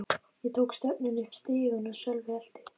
Ég tók stefnuna upp stigann og Sölvi elti.